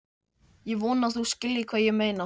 Ég vona að þú skiljir hvað ég meina.